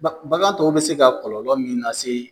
Baga bagan tɔw bɛ se ka kɔlɔlɔ min lase yen